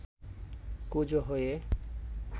কুঁজো হয়ে